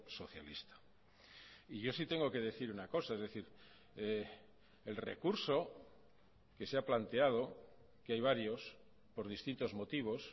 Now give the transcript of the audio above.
socialista y yo sí tengo que decir una cosa es decir el recurso que se ha planteado que hay varios por distintos motivos